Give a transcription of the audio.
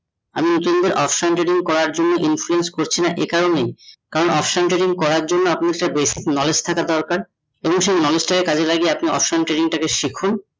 আমি এর জন্যে option trading করার জন্যে influcence করছি না করছি এ কারণ option trading করার জন্যে আপনি বেশ একটা basic knowledge থাকা দরকার এবং সেই knowledge টাকে কাজে লাগিয়ে option trading তাকে শিখুন